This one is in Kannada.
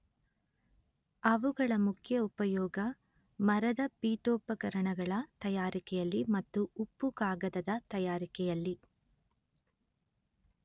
ಅವುಗಳ ಮುಖ್ಯ ಉಪಯೋಗ ಮರದ ಪೀಠೋಪಕರಣಗಳ ತಯಾರಿಕೆಯಲ್ಲಿ ಮತ್ತು ಉಪ್ಪು ಕಾಗದದ ತಯಾರಿಕೆಯಲ್ಲಿ